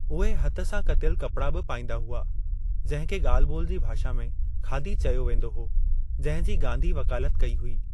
उहे हथ सां कतियलु कपड़ा बि पाईंदा हुआ, जिंहिं खे गा॒ल्हि-बो॒ल जी भाषा में ख़ादी चयो वींदो हो, जिंहिं जी गांधी वकालत कई हुई।